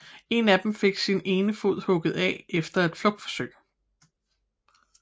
En af dem fik sin ene fod hugget af efter et flugtforsøg